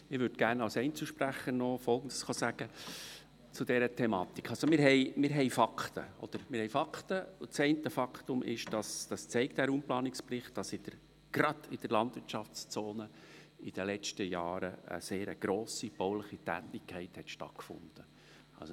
Und der Raumplanungsbericht zeigt ein Faktum auf, nämlich, dass gerade in der Landwirtschaftszone in den vergangenen Jahren eine sehr grosse bauliche Tätigkeit stattgefunden hat.